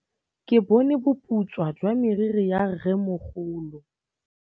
Ke bone boputswa jwa meriri ya rrêmogolo.